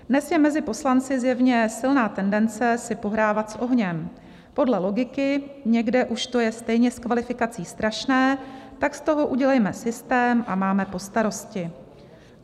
- Dnes je mezi poslanci zjevně silná tendence si pohrávat s ohněm, podle logiky: někde už to je stejně s kvalifikací strašné, tak z toho udělejme systém a máme po starosti.